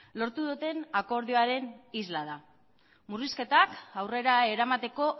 lortu duten akordioaren isla da murrizketak aurrera eramateko